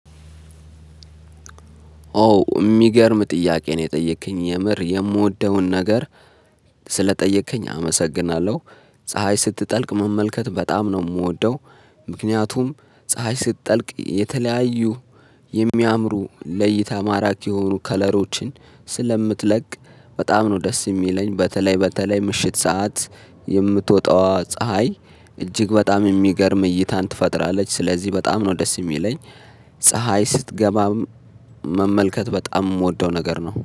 ኦ የሚገርም ጥያቄ ነው የጠየከኝ የምር የምወደውን ነገር ስለጠየከኝ አመሰግናለሁ ፀሀይ ስትጠልቅ መመልከት በጣም ነው የምወደው። ምክንያቱም ፀሀይ ስትጠልቅ የተለያዩ ለሚያምሩ ለእይታ ማራኪ የሆኑ ከለሮችን ስለምትለቅ በጣም ነው ደስ የሚለኝ በተለይ በተለይ ምሽት ሰዓት የምትወጣዋ ፀሀይ እጅግ በጣም የሚገርም እይታን ትፈጥራለች ስለዚህ በጣም ነው ደስ የሚለኝ። ፀሀይ ስትገባ መመልከት በጣም የምወደው ነገር ነው